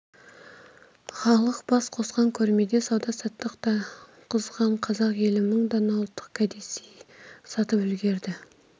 халқы бас қосқан көрмеде сауда-саттық та қызған қазақ елі мың дана ұлттық кәдесый сатып үлгерді